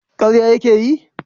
karya ya ke yi?